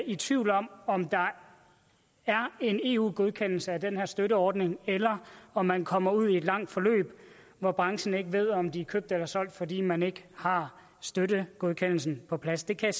i tvivl om om der er en eu godkendelse af den her støtteordning eller om man kommer ud i et langt forløb hvor branchen ikke ved om den er købt eller solgt fordi man ikke har støttegodkendelsen på plads det kan